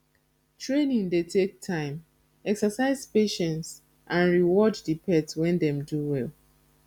training dey take time exercise patience and reward di pet when dem do well